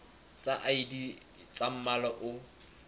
tsa id tsa mmala o